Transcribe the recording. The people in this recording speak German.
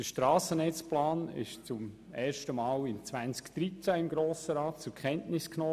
Der Strassennetzplan wurde zum ersten Mal im Jahr 2013 vom Grossen Rat zur Kenntnis genommen.